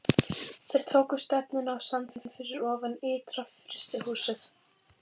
Þeir tóku stefnuna á sandinn fyrir ofan ytra-frystihúsið.